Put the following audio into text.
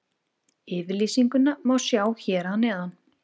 Yfirlýsinguna má sjá hér að neðan.